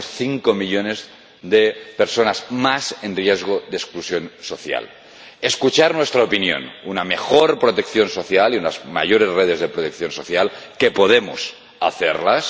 Y tenemos cinco millones de personas más en riesgo de exclusión social. Tienen que escuchar nuestra opinión una mejor protección social y unas mayores redes de protección social —que podemos tenerlas—